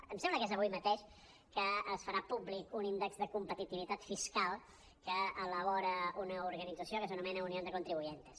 em sembla que és avui mateix que es farà públic un índex de competitivitat fiscal que elabora una organit·zació que s’anomena unión de contribuyentes